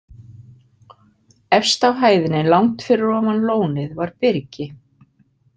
Efst á hæðinni, langt fyrir ofan lónið, var byrgi.